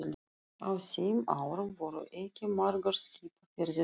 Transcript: Á þeim árum voru ekki margar skipaferðir í